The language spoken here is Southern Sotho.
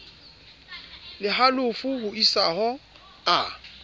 le halofo ho isaho a